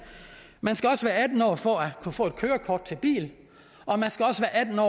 man skal også være atten år for at kunne få kørekort til bil